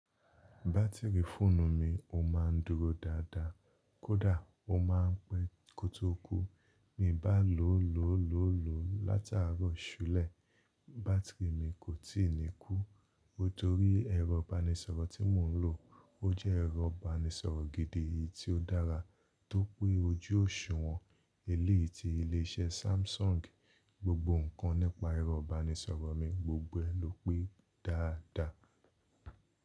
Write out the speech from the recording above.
Bátìrì fóònù mi ó ma dúró dáadáa, kódà ó ma ń pẹ́ kọtóku. Mi bá lò ó lóòólóòó látàárọ̀ ṣúlẹ̀, bátìrì mi kò tí ì ní kú. Nítorí ẹrọ̀ banisọ̀rọ̀ tí mò ń lò ó jẹ́ ẹrọ̀ banisọ̀rọ̀ gidi tí ó dára, tó pé ojú òṣùwọ̀n eleyii ti ilé iṣẹ́ Samsung. Gbogbo nǹkan nípa ẹrọ̀ banisọ̀rọ̀ mi gbogbo ẹ ló pé dáadáa.